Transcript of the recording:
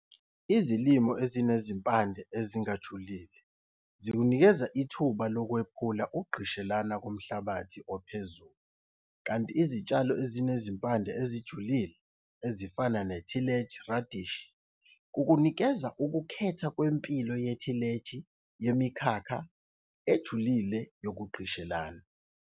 Izilimo ezinezimpande ezingajulile zikunikeza ithuba lokwephula ukugqishelana komhlabathi ophezulu kanti izitshalo ezinezimpande ezijulile, ezifana nethileji radish, kukunikeza ukukhetha kwe-kwempilo yethileji yemikhakha ejulile yokugqishelana.